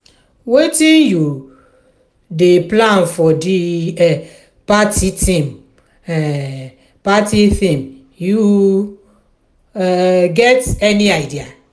wetin you um dey plan for di um party theme um party theme you um get any idea?